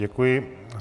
Děkuji.